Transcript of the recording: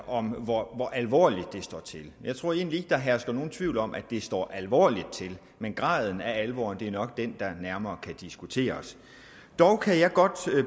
om hvor alvorligt det står til jeg tror egentlig ikke at der hersker nogen tvivl om at det står alvorligt til men graden af alvoren er nok den der nærmere kan diskuteres dog kan jeg godt